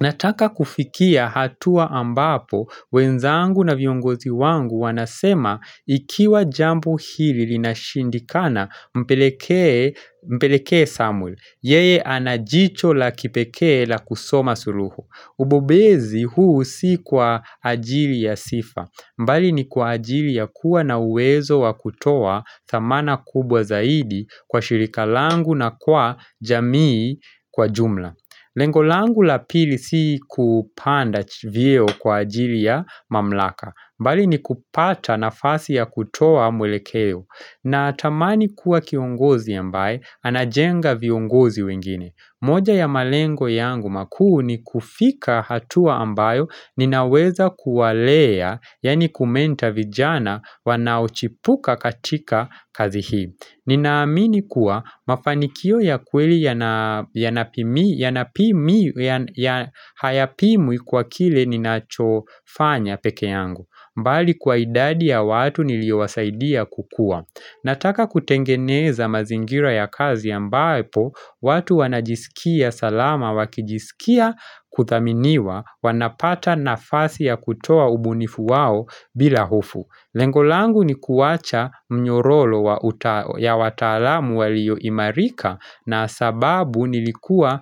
Nataka kufikia hatua ambapo, wenzangu na viongozi wangu wanasema ikiwa jambo hili linashindikana mpelekee mpeleke Samuel, yeye anajicho la kipeke la kusoma suluhu. Ubobezi huu si kwa ajili ya sifa, bali ni kwa ajili ya kuwa na uwezo wa kutoa thamana kubwa zaidi kwa shirika langu na kwa jamii kwa jumla. Lengo langu la pili si kupanda vyeo kwa ajili ya mamlaka bali ni kupata nafasi ya kutoa mwelekeo na tamani kuwa kiongozi ambaye anajenga viongozi wengine moja ya malengo yangu makuu ni kufika hatua ambayo Ninaweza kuwalea yaani kumenta vijana wanaochipuka katika kazi hii Ninaamini kuwa mafanikio ya kweli yana yanapimi yanapimi ya hayapimwi kwa kile ninachofanya peke yangu bali kwa idadi ya watu niliowasaidia kukua Nataka kutengeneza mazingira ya kazi ambapo watu wanajisikia salama wakijisikia kuthaminiwa wanapata nafasi ya kutoa ubunifu wao bila hofu Lengo langu ni kuwacha mnyororo ya wataalamu waliyoimarika na sababu nilikuwa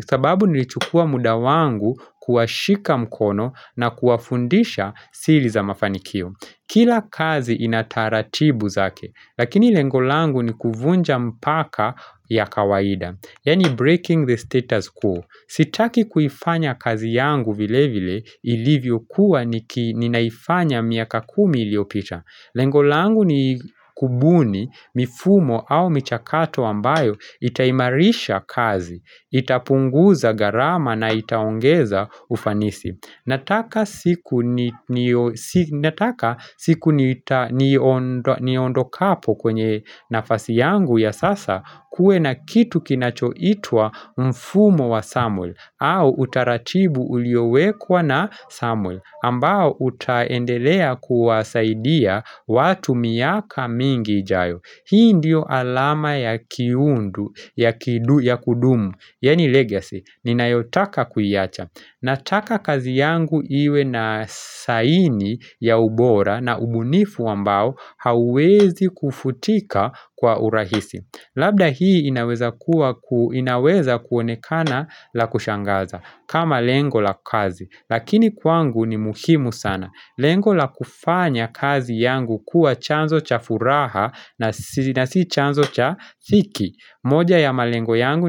sababu nilichukua muda wangu kuwashika mkono na kuwafundisha siri za mafanikio. Kila kazi inataratibu zake, lakini lengo langu ni kuvunja mpaka ya kawaida, yaani breaking the status quo. Sitaki kuifanya kazi yangu vile vile ilivyo kuwa ninaifanya miaka kumi iliopita. Lengo langu ni kubuni, mifumo au michakato ambayo itaimarisha kazi, itapunguza gharama na itaongeza ufanisi. Nataka siku ni nio si nataka siku nita ni niond niondo kapo kwenye nafasi yangu ya sasa kuwe na kitu kinachoitwa mfumo wa Samuel au utaratibu uliowekwa na Samuel ambao utaendelea kuwasaidia watu miaka mingi ijayo. Hii ndiyo alama ya kiundu, ya kidu, ya kudumu Yaani legacy, ninayotaka kuiacha Nataka kazi yangu iwe na saini ya ubora na ubunifu ambao Hauwezi kufutika kwa urahisi Labda hii inaweza kuwa inaweza kuonekana la kushangaza kama lengo la kazi Lakini kwangu ni muhimu sana Lengo la kufanya kazi yangu kuwa chanzo cha furaha na na si chanzo cha dhiki moja ya malengo yangu ni.